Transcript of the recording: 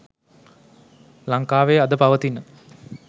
ලංකාවේ අද පවතින